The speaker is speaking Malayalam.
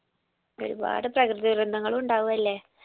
ഒരുപാട് പ്രകൃതി ദുരന്തങ്ങൾ ഉണ്ടാവു അല്ലെ